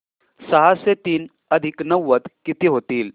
सहाशे तीन अधिक नव्वद किती होतील